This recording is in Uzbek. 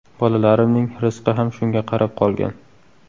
Bolalarimning rizqi ham shunga qarab qolgan.